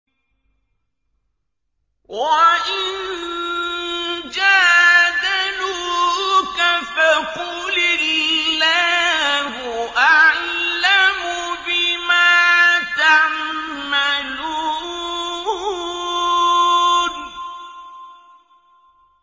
وَإِن جَادَلُوكَ فَقُلِ اللَّهُ أَعْلَمُ بِمَا تَعْمَلُونَ